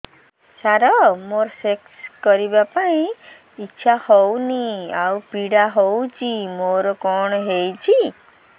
ସାର ମୋର ସେକ୍ସ କରିବା ପାଇଁ ଇଚ୍ଛା ହଉନି ଆଉ ପୀଡା ହଉଚି ମୋର କଣ ହେଇଛି